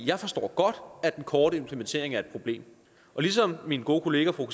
jeg forstår godt at den korte implementering er et problem og ligesom min gode kollega fru